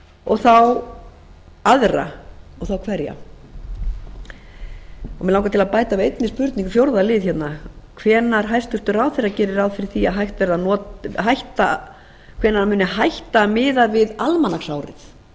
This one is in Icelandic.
og aðra og þá hverja mig langar til að bæta við einni spurningu fjórða lið hérna hvenær hæstvirtur ráðherra geri ráð fyrir því að hætt verði að nota hvenær hann muni hætta miða við almanaksárið